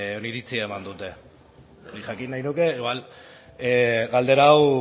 oniritzi eman dute nik jakin nahi nuke igual galdera hau